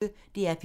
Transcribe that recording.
DR P1